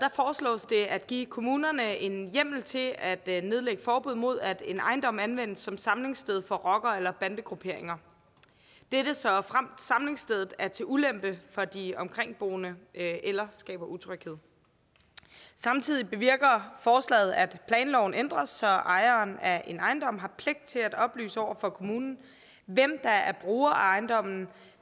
foreslås det at give kommunerne en hjemmel til at at nedlægge forbud mod at en ejendom anvendes som samlingssted for rockere eller bandegrupperinger såfremt samlingsstedet er til ulempe for de omkringboende eller skaber utryghed samtidig bevirker forslaget at planloven ændres så ejeren af en ejendom har pligt til at oplyse over for kommunen hvem der er bruger af ejendommen